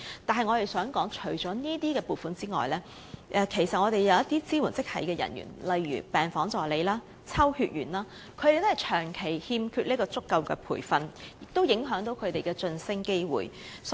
但我們想說的是，除了這些撥款外，其實一些支援職系人員如病房助理、抽血員亦長期缺乏足夠培訓，影響其晉升機會。